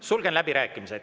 Sulgen läbirääkimised.